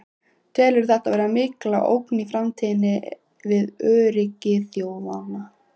Telurðu þetta vera mikla ógn í framtíðinni við öryggi þjóða?